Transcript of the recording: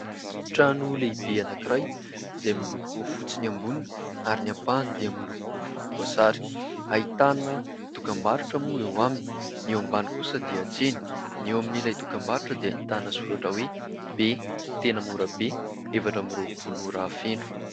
Trano lehibe anakiray izay miloko fotsy ny amboniny ary ny ampahany dia miloko volom-boasary, ahitana dokam-barotra moa eo aminy, ny eo ambany kosa dia tsena, ny eo amin'ilay dokam-barotra dia ahitana soratra hoe :« "Be" tena mora be, efatra amin'ny roapolo ora feno».